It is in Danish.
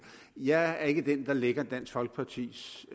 jeg er ikke den der lægger dansk folkepartis